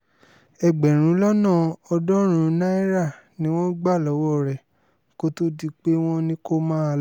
ẹgbẹ̀rún lọ́nà ọ̀ọ́dúnrún náírà ni wọ́n gbà lọ́wọ́ rẹ kó tóó di pé wọ́n ní kó máa lọ